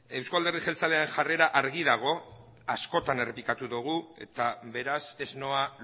euzko alderdi jeltzalearen jarrera argi dago askotan errepikatu dugu eta beraz ez noa